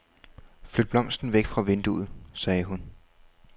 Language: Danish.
Flyt blomsten væk fra vinduet, sagde hun.